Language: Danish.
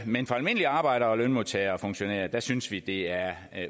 men for almindelige arbejdere lønmodtagere og funktionærer synes vi at det er